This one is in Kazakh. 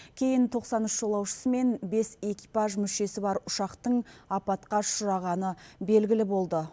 кейін тоқсан үш жолаушысы мен бес экипаж мүшесі бар ұшақтың апатқа ұшырағаны белгілі болды